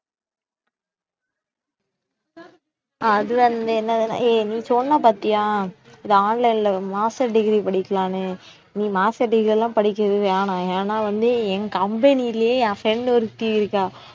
ஆஹ் அது வந்து என்னதுனா, ஏய் நீ சொன்ன பார்த்தியா இது online ல master degree படிக்கலான்னு நீ master degree எல்லாம் படிக்கிறது வேணாம் ஏன்னா வந்து என் company யிலேயே என் friend ஒருத்தி இருக்கா